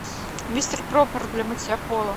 мистер пропер для мытья пола